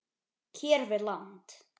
hér við land.